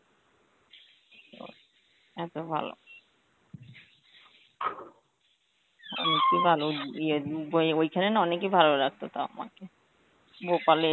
ও এত ভালো. ইয়ে উম বয়ে~ ওইখানে না অনেকই ভালো লাগতো তাও আমার, ভোপালে